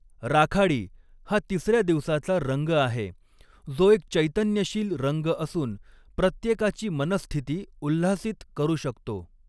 राखाडी हा तिसर्या दिवसाचा रंग आहे, जो एक चैतन्यशील रंग असून प्रत्येकाची मनःस्थिती उल्हासित करू शकतो.